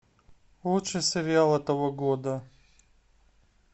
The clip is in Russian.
лучший сериал этого года